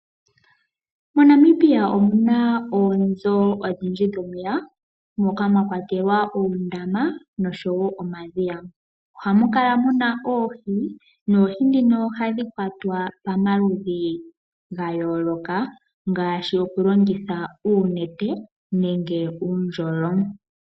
MoNamibia omuna oonzo odhidji dhomeya, moka mwa kwatelwa oondama nosho woo omadhiya. Ohamukala muna oohi, noho ndhino ohadhi kwatwa pomaludhi ga yooloka, ngaashi oku longitha oonete, noku longitha uundjolo.